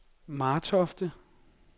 Martofte